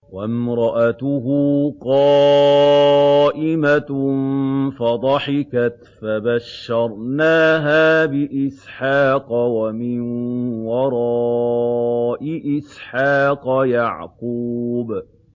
وَامْرَأَتُهُ قَائِمَةٌ فَضَحِكَتْ فَبَشَّرْنَاهَا بِإِسْحَاقَ وَمِن وَرَاءِ إِسْحَاقَ يَعْقُوبَ